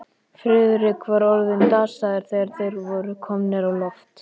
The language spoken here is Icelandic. Friðrik var orðinn dasaður, þegar þeir voru komnir á loft.